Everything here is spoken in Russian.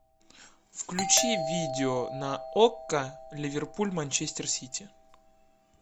включи видео на окко ливерпуль манчестер сити